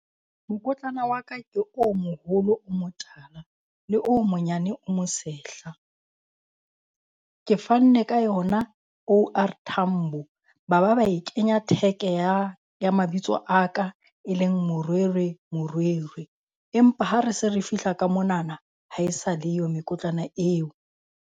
Mokotlana wa ka ke o moholo o mo tala le o monyane o mo sehla. Ke fanne ka yona O_R Tambo ba ba ba e kenya tag ya ya mabitso a ka e leng Morwerwe Morwerwe. Empa ha re se re fihla ka monana, ha e sa le yo mekotlana eo.